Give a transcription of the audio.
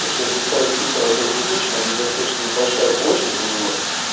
короче если ставить фильтр от с две тысячи он достаточно большая площадь у него